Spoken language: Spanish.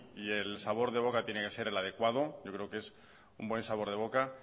y el sabor de boca tiene que ser el adecuado yo creo que un buen sabor de boca